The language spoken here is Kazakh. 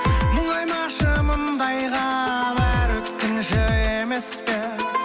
мұңаймашы мұндайға бәрі өткінші емес пе